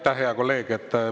Aitäh, hea kolleeg!